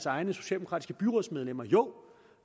egne socialdemokratiske byrådsmedlemmer og jo